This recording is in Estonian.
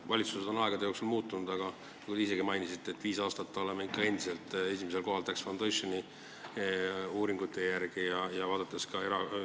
Valitsused on aegade jooksul muutunud, aga te ise ka mainisite, et viis aastat oleme Tax Foundationi uuringute järgi olnud ikka esimesel kohal.